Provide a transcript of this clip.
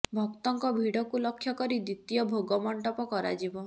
ଭକ୍ତଙ୍କ ଭିଡକୁ ଲକ୍ଷ୍ୟ କରି ଦ୍ୱିତୀୟ ଭୋଗ ମଣ୍ଡପ କରାଯିବ